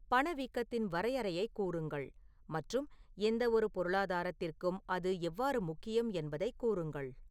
பணவீக்கத்தின் வரையறையைக் கூறுங்கள் மற்றும் எந்தவொரு பொருளாதாரத்திற்கும் அது எவ்வாறு முக்கியம் என்பதைக் கூறுங்கள்